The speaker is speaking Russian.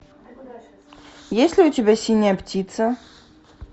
есть ли у тебя синяя птица